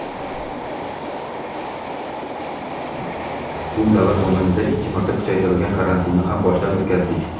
Bu davr mobaynida ikki marta kuchaytirilgan karantinni ham boshdan o‘tkazdik.